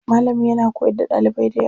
Malamin yana koyar da ɗalibai dayawa.